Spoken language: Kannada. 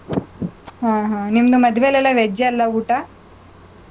ಹ್ಮ್, ಹ್ಮ್. ನಿಮ್ದು ಮದ್ವೇಲ್ಲೆಲ್ಲ veg ಅಲ್ಲಾ ಊಟ?